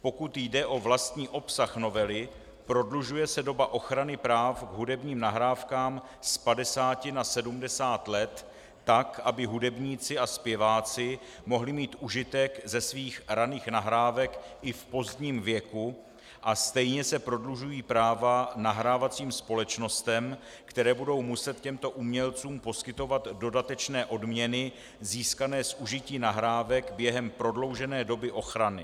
Pokud jde o vlastní obsah novely, prodlužuje se doba ochrany práv k hudebním nahrávkám z 50 na 70 let, tak aby hudebníci a zpěváci mohli mít užitek ze svých raných nahrávek i v pozdním věku, a stejně se prodlužují práva nahrávacím společnostem, které budou muset těmto umělcům poskytovat dodatečné odměny získané z užití nahrávek během prodloužené doby ochrany.